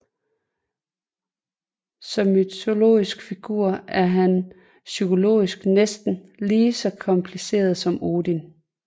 Som mytologisk figur er han psykologisk næsten lige så kompliceret som Odin